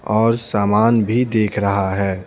और सामान भी देख रहा है।